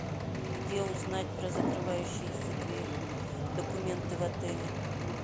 где узнать про закрывающиеся документы в отеле